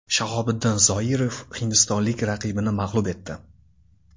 Shahobiddin Zoirov hindistonlik raqibini mag‘lub etdi.